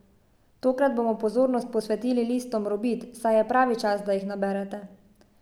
Tokrat bomo pozornost posvetili listom robid, saj je pravi čas, da jih naberete.